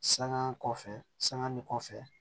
Sanŋa kɔfɛ sanga ni kɔfɛ